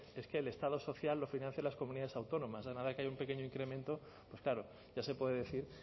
es que el estado social lo financian las comunidades autónomas a nada que haya un pequeño incremento pues claro ya se puede decir